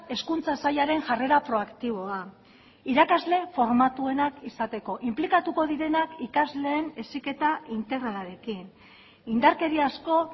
hezkuntza sailaren jarrera proaktiboa irakasle formatuenak izateko inplikatuko direnak ikasleen heziketa integralarekin indarkeriazko